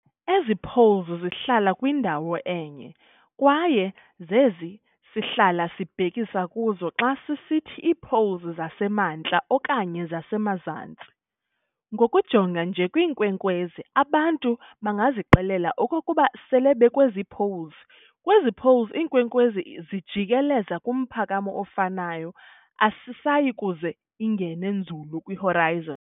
Ezi "poles" zihlala kwindawo enye, kwaye zezi sihlala sibhekisa kuzo xa sisithi iipoles zasemaNtla okanye zasemaZantsi. Ngokujonga nje kwiinkwenkwezi abantu bangazixelela okokuba sele bekwezi "poles" kwezi "poles", inkwenkwezi ijikeleza kumphakamo ofanayo, ayisayikuze ingene nzulu kwi"horizon".